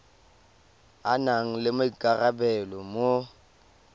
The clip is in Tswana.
a nang le maikarabelo mo